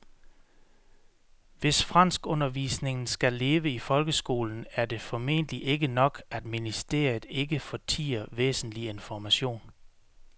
Hvis franskundervisningen skal leve i folkeskolen er det formentlig ikke nok, at ministeriet ikke fortier væsentlig information.